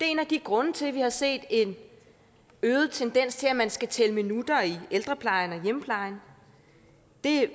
en af grundene til at vi har set en øget tendens til at man skal tælle minutter i ældreplejen og i hjemmeplejen det